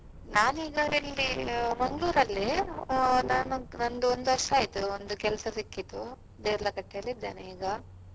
ನಾನೀಗ ಇಲ್ಲಿ Mangalore ಅಲ್ಲಿ ಆ ನಂದೊಂದು ವರ್ಷ ಆಯ್ತು ಒಂದು ಕೆಲಸ ಸಿಕ್ಕಿತು Deralakatte ಲಿದ್ದೇನೆ ಈಗ.